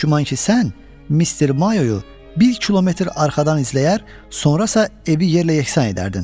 Çox güman ki, sən Mr. Mayo-yu bir kilometr arxadan izləyər, sonra isə evi yerlə yeksan edərdin,